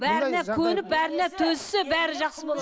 бәріне көніп бәріне төзсе бәрі жақсы болады